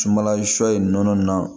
Sumanla sɔ in nɔnɔ nin na